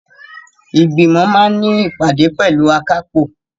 Ìgbìmọ̀ máa ní ìpàdé pẹ̀lú akápò.